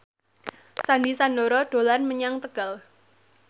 Sandy Sandoro dolan menyang Tegal